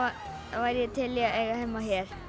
þá væri ég til í að eiga heima hér